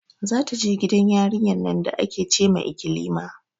Za ta je gidan yarinyar nan da ake ce ma ikilima